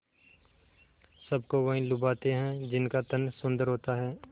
सबको वही लुभाते हैं जिनका तन सुंदर होता है